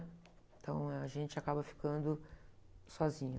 Então, a gente acaba ficando sozinho.